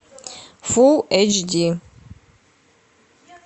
фулл эйч ди